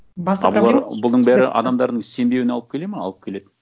бұның бәрі адамдардың сенбеуіне алып келеді ме алып келеді